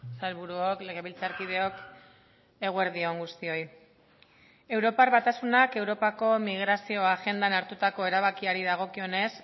sailburuok legebiltzarkideok eguerdi on guztioi europar batasunak europako migrazio agendan hartutako erabakiari dagokionez